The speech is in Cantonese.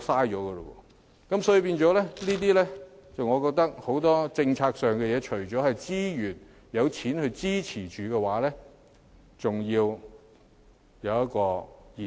因此，我認為很多政策事宜除了要有資源和撥款支持外，還要得以延續。